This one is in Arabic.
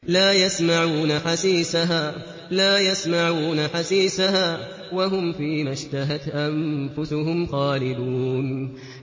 لَا يَسْمَعُونَ حَسِيسَهَا ۖ وَهُمْ فِي مَا اشْتَهَتْ أَنفُسُهُمْ خَالِدُونَ